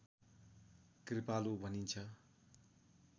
कृपालु भनिन्छ